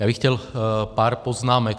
Já bych chtěl pár poznámek.